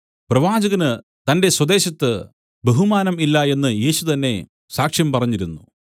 പ്രവാചകന് തന്റെ സ്വദേശത്ത് ബഹുമാനം ഇല്ല എന്ന് യേശു തന്നേ സാക്ഷ്യം പറഞ്ഞിരുന്നു